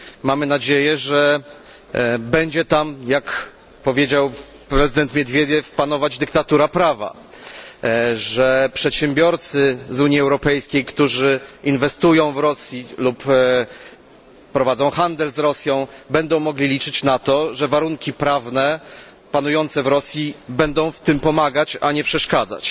Mamy nadzieję, że będzie tam jak powiedział prezydent Miedwiediew panować dyktatura prawa, że przedsiębiorcy z Unii Europejskiej, którzy inwestują w Rosji lub prowadzą handel z Rosją, będą mogli liczyć na to, że warunki prawne panujące w Rosji będą w tym pomagać, a nie przeszkadzać.